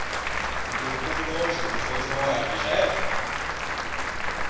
ты блядь стопудово сейчас за свои слова отвечаешь